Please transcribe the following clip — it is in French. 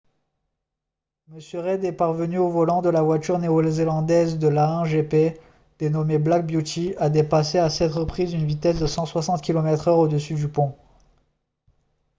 m. reid est parvenu au volant de la voiture néo-zélandaise de l'a1 gp dénommée black beauty à dépasser à 7 reprises une vitesse de 160 km/h au dessus du pont